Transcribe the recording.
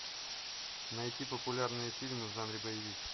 найти популярные фильмы в жанре боевик